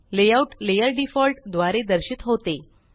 layout layer default द्वारे दर्शित होते